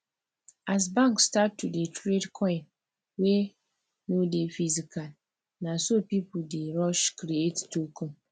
as bank start to dey trade coin wey no dey physical na so people dey rush create token